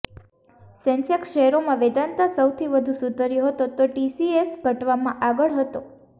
Sensex શેરોમાં વેદાંતા સૌથી વધુ સુધર્યો હતો તો ટીસીએસ ઘટવામાં આગળ હતો